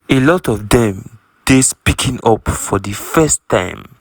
"a lot of dem dey speaking up for di first time.